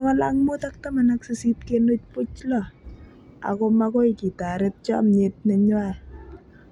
518.06, ako makoi kitaret chomyet nenywaa."